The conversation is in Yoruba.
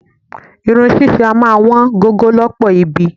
Irun ṣíṣe a máa wọn gogo lọ́pọ̀ ibi.